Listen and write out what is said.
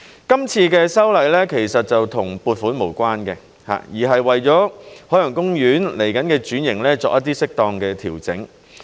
今次的修例其實與撥款無關，而是為了海洋公園未來的轉型作一些適當調整。